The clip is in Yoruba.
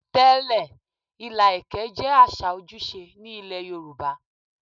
Tẹ́lẹ̀, ilà ẹ̀kẹ́ jẹ́ àṣà ojúṣe ní ilé Yorùbá.